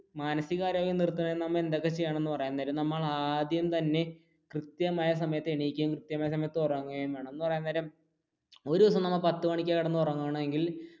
മാനസിക ആരോഗ്യം നില നിർത്താൻ നമ്മൾ എന്തൊക്കെ ചെയ്യണമെന്ന് പറയാൻ നേരം നമ്മൾ ആദ്യം തന്നെ കൃത്യമായ സമയത്തു എനിക്കുകയും കൃത്യമായ സമയത്തു ഉറങ്ങുകയും വേണം എന്ന് പറയാൻ നേരം ഒരു ദിവസം പത്തു മണിക്കാണ് കിടന്ന് ഉറങ്ങുക എന്നുണ്ടെങ്കിൽ